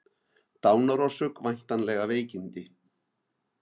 Dánarorsök væntanlega veikindi